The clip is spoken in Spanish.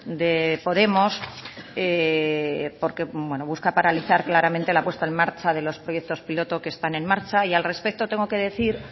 de podemos porque busca paralizar claramente la puesta en marcha de los proyectos piloto que están en marcha y al respecto tengo que decir